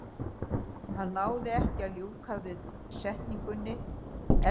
Hann náði ekki að ljúka setningunni, efsti gaddavírinn krækti í ökkla hans.